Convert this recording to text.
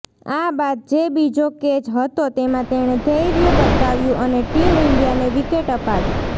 આ બાદ જે બીજો કેચ હતો તેમાં તેણે ધૈર્ય બતાવ્યું અને ટીમ ઈન્ડિયાને વિકેટ અપાવી